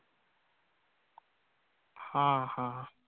हा हा.